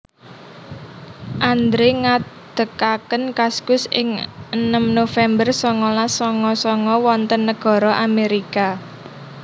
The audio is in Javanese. Andre ngadekaken Kaskus ing enem November songolas songo songo wonten negoro Amerika